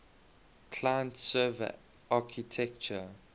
client server architecture